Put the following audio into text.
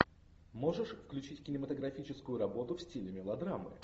можешь включить кинематографическую работу в стиле мелодрамы